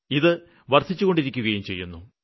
ഇത് വര്ദ്ധിച്ചുകൊണ്ടിരിക്കുന്നു